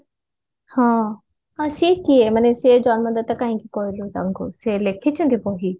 ହଁ ସିଏ କିଏ ସେ ମାନେ ସେ ଜନ୍ମଦାତା କାହିଁକି କହିଲୁ ତାଙ୍କୁ ସେ ଲେଖିଛନ୍ତି ବହି